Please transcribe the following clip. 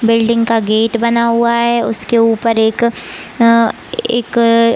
building का gate बना हुआ है उसके ऊपर एक अ एक--